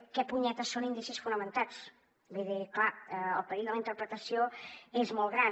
què punyeta són indicis fonamentats vull dir clar el perill de la interpretació és molt gran